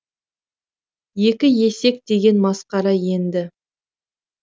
екі есек деген масқара енді